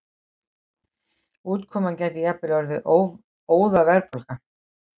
Útkoman gæti jafnvel orðið óðaverðbólga.